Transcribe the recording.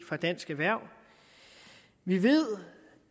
fra dansk erhverv vi ved